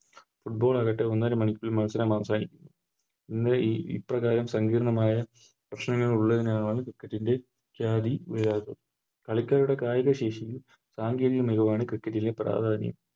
Football ആകട്ടെ ഒന്നരമണിക്കൂറിൽ മത്സരം അവസാനിക്കുന്നു ഇന്ന് ഈ ഇപ്രകാരം സങ്കീർണ്ണമായ പ്രശ്നങ്ങൾ ഉള്ളതിനാലാണ് Cricket ൻറെ കളിക്കാരുടെ കായികശേഷിയും കായിക ആണ് Cricket ലെ പ്രധാന